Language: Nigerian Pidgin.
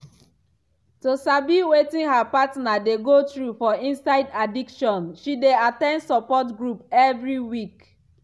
to sabi wetin her partner dey go through for inside addiction she dey at ten d support group every week.